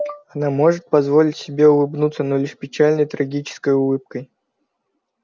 она может позволить себе улыбнуться но лишь печальной трагической улыбкой